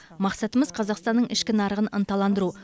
мақсатымыз қазақстанның ішкі нарығын ынталандыру